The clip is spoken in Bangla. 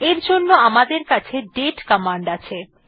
এর জন্য আমাদের কাছে দাতে কমান্ড আছে